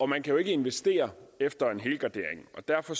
man kan jo ikke investere efter en helgardering og derfor